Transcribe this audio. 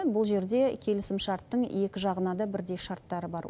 бұл жерде келісімшарттың екі жағына да бірдей шарттары бар